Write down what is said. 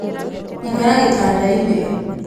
ĩkara gĩtanda-inĩ